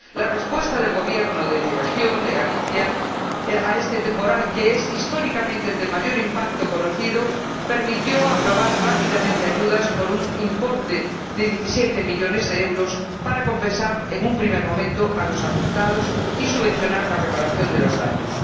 La respuesta del Gobierno de mi región, de Galicia, a este temporal, que es históricamente el de mayor impacto conocido, permitió aprobar rápidamente ayudas por un importe de diecisiete millones de euros para compensar, en un primer momento, a los afectados y subvencionar la reparación de los daños.